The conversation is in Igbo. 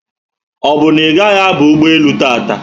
Obu na igahi aba ụgbọelu tata?